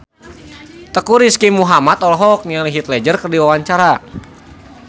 Teuku Rizky Muhammad olohok ningali Heath Ledger keur diwawancara